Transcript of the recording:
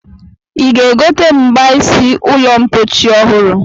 Ị ga-egote mgbaisi ụlọmpochi ọhụrụ?